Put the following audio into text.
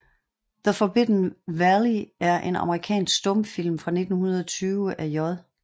The Forbidden Valley er en amerikansk stumfilm fra 1920 af J